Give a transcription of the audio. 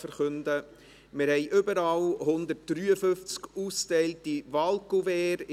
Wir haben überall 153 ausgeteilte Wahlkuverts.